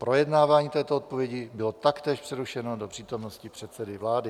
Projednávání této odpovědi bylo taktéž přerušeno do přítomnosti předsedy vlády.